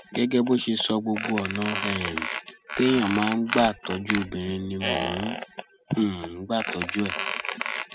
gẹgẹ bó ṣe sọ gbogbo ọnà um téèyàn máa ń gbà tọjú obìnrin ni mò ń um gbà tọjú ẹ